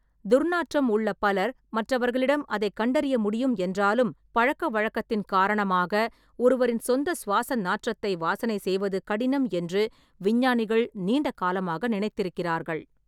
துர்நாற்றம் உள்ள பலர் மற்றவர்களிடம் அதைக் கண்டறிய முடியும் என்றாலும், பழக்கவழக்கத்தின் காரணமாக ஒருவரின் சொந்த சுவாச நாற்றத்தை வாசனை செய்வது கடினம் என்று விஞ்ஞானிகள் நீண்ட காலமாக நினைத்திருக்கிறார்கள்.